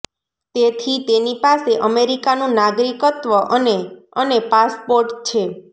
તેથી તેની પાસે અમેરિકાનું નાગરિકત્વ અને અને પાસપોર્ટ છે